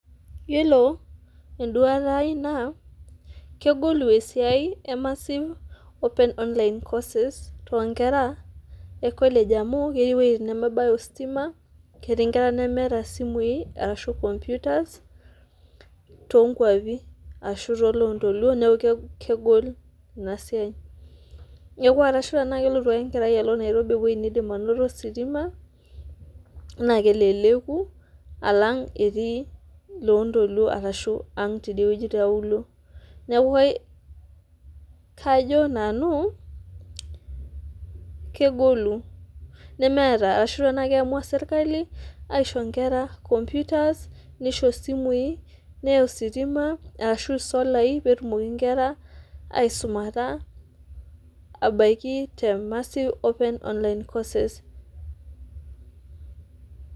Iyolo enduata aai na kegolu esiai e[cs[massive open online courses [cs[ tonkera ekolege amu keti wuejitin nemeeta ositima ketii ltunganak lemeeta osimui ashu komputas tonkwapi ashu tolontoluo neaku kegol inasia, arashu a kelotu ake enkera alo nairobi ewoi nidimbainoto ositima na keleleku alang etii londoluo ashu etii aang tiauluo neaku kajo namu kegolu nemeta ashu tanaa kiamua serkali aisho nkera nkomputas nisho isimui neya ositima arashu solai petumoki nkera aisukata ebaki te massive open online courses